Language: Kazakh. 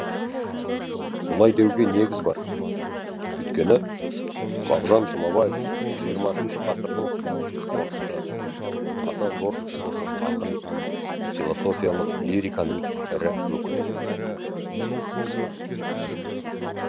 бұлай деуге негіз бар өйткені мағжан жұмабаев хх ғасырдың қорқыты аса зор философ ақын философиялық лириканың ірі өкілі